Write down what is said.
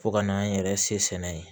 Fo ka n'an yɛrɛ se sɛnɛ ye